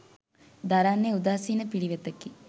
දරන්නේ උදාසීන පිළිවෙතකි